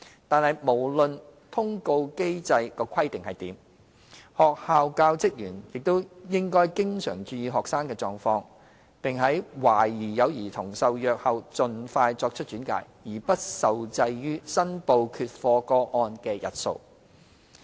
但是，無論通報機制規定如何，學校教職員也應經常注意學生的狀況，並在懷疑有兒童受虐後盡快作出轉介，而不受制於申報缺課個案的日數。